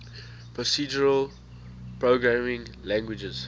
procedural programming languages